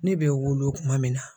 Ne bɛ wolo tuma min na.